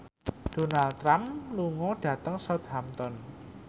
Donald Trump lunga dhateng Southampton